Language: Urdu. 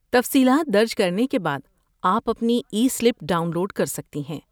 تفصیلات درج کرنے کے بعد، آپ اپنی ای سلپ ڈاؤن لوڈ کر سکتی ہیں۔